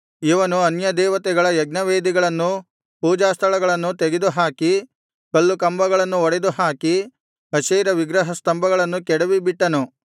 ಇವನು ಅನ್ಯದೇವತೆಗಳ ಯಜ್ಞವೇದಿಗಳನ್ನೂ ಪೂಜಾಸ್ಥಳಗಳನ್ನೂ ತೆಗೆದುಹಾಕಿ ಕಲ್ಲುಕಂಬಗಳನ್ನು ಒಡೆದು ಹಾಕಿ ಅಶೇರ ವಿಗ್ರಹ ಸ್ತಂಭಗಳನ್ನು ಕೆಡವಿ ಬಿಟ್ಟನು